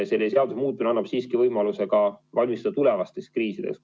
Selle seaduse muutmine annab siiski võimaluse ka valmistuda tulevasteks kriisideks.